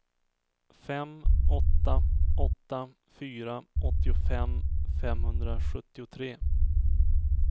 fem åtta åtta fyra åttiofem femhundrasjuttiotre